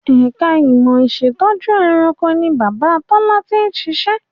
Ẹ̀ka ìmọ̀ ìṣẹ̀tọ́jú ẹranko ni Bàbá Tọ́lá ti ń ṣiṣẹ́